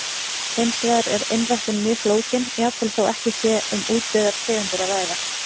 Hins vegar er einræktun mjög flókin, jafnvel þó ekki sé um útdauðar tegundir að ræða.